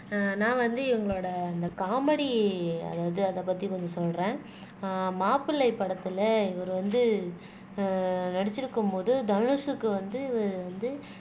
அஹ் நான் வந்து இவங்களோட அந்த காமெடி அதாவது அதைப் பத்தி கொஞ்சம் சொல்றேன் ஆஹ் மாப்பிளை படத்துல இவர் வந்து ஆஹ் நடிச்சிருக்கும் போது தனுஷுக்கு வந்து இவர் வந்து